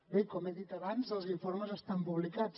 bé com he dit abans els informes estan publicats